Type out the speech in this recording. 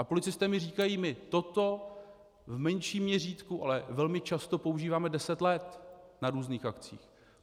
A policisté mi říkají: My toto v menším měřítku, ale velmi často používáme deset let na různých akcích.